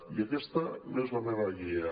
i aquesta és la meva guia